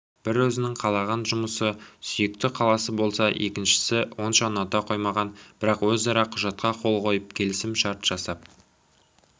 бірі өзінің қалаған жұмысы сүйікті қаласы болса екіншісі онша ұната қоймаған бірақ өзара құжатқа қол қойып келісім-шарт жасап